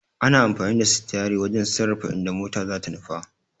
Ana amfani da sitiyari wajen sarrafa inda mota zata nufa.